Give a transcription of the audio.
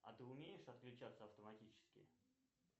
а ты умеешь отключаться автоматически